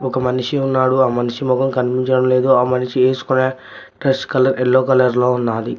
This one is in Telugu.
ఒక మనిషి ఉన్నాడు ఆ మనిషి మొహం కనిపించడం లేదు ఆ మనిషి వేసుకునే డ్రెస్ కలర్ ఎల్లో కలర్ లో ఉన్నది.